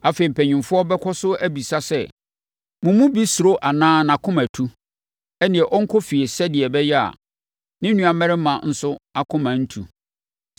Afei, mpanimfoɔ bɛkɔ so abisa sɛ, “Mo mu bi suro anaa nʼakoma atu? Ɛnneɛ, ɔnkɔ fie sɛdeɛ ɛbɛyɛ a, ne nuammarima nso akoma ntu.”